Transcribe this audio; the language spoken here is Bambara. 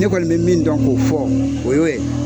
Ne kɔni mɛ min dɔn k'o fɔ, o y'o ye